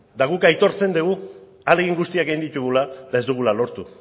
guk aitortzen dugu ahalegin guztiak egin ditugula eta ez dugula lortu